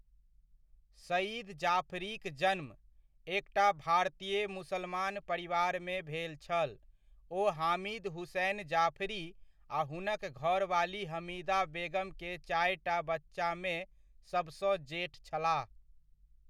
सइद जाफरीक जन्म, एकटा भारतीय मुसलमान परिवारमे भेल छल, ओ हामिद हुसैन जाफरी आ हुनक घरवाली हमीदा बेगम के चारिटा बच्चामे सभसँ जेठ छलाह।